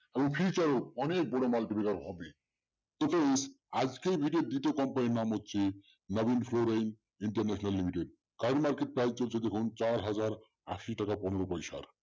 অনেক বড় আজকের video দুটো company র নাম হচ্ছে নবীন ফ্লোরা ইন্টারন্যাশনাল লিমিটেড তার market price চলছে দেখুন চার হাজার আশি টাকা পনের পয়সা